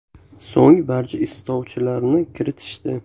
So‘ng barcha istovchilarni kiritishdi.